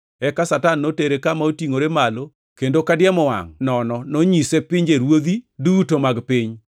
Eka Satan notere kama otingʼore malo kendo ka diemo wangʼ nono nonyise pinjeruodhi duto mag piny.